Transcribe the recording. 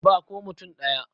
Ba ko mutum ɗaya.